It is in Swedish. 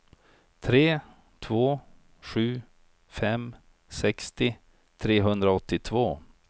tre två sju fem sextio trehundraåttiotvå